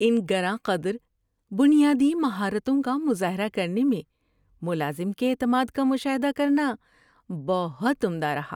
ان گراں قدر بنیادی مہارتوں کا مظاہرہ کرنے میں ملازم کے اعتماد کا مشاہدہ کرنا بہت عمدہ رہا۔